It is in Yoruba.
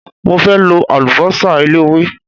Mo fẹ́ lo àlùbọ́sà eléwé.